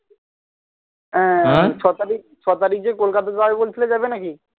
আহ ছতারিখ ছতারিখ যে কলকাতা যাবে বলছিলে যাবে নাকি